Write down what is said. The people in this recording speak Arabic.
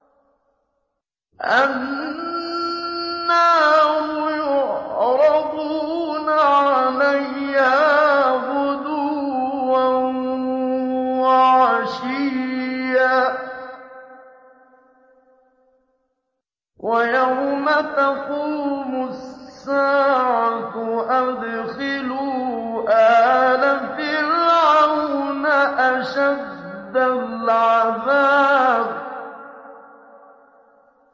النَّارُ يُعْرَضُونَ عَلَيْهَا غُدُوًّا وَعَشِيًّا ۖ وَيَوْمَ تَقُومُ السَّاعَةُ أَدْخِلُوا آلَ فِرْعَوْنَ أَشَدَّ الْعَذَابِ